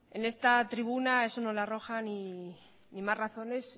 en esta tribuna eso no le arroja ni más razones